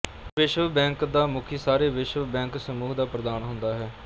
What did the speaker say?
ਵਿਸ਼ਵ ਬੈਂਕ ਦਾ ਮੁਖੀ ਸਾਰੇ ਵਿਸ਼ਵ ਬੈਂਕ ਸਮੂਹ ਦਾ ਪ੍ਰਧਾਨ ਹੁੰਦਾ ਹੈ